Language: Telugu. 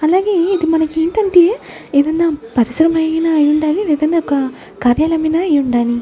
అలాగే ఇది మనకి ఏంటంటే ఏదైనా పరిసరమైనా అయి ఉండాలి ఏదనా ఒక కార్యాల మైనా అయి ఉండాలి.